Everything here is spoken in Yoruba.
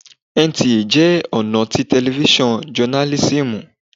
NTA jẹ́ ọ̀nà tí tẹlifísàn jọnálísìmù